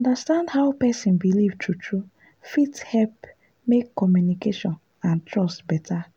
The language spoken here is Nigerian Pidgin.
to understand how person believe true-true fit help make communication and trust better.